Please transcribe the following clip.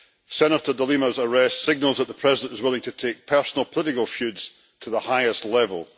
Senator De Lima's arrest signals that the President is willing to take personal political feuds to the highest level.